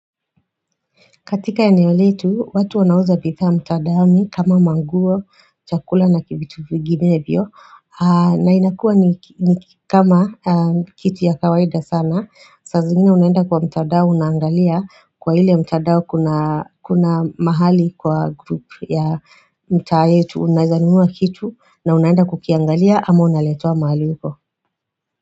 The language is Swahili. Katika eneo letu, watu wanauza bithaa mtadaoni kama manguo, chakula na vitu vinginevyo na inakua ni kama kitu ya kawaida sana saa zingine unaenda kwa mtadao unaangalia kwa ile mtadao kuna mahali kwa group ya mtaa yetu Unazanua kitu na unaenda kukiangalia ama unaletewaa mahali uko.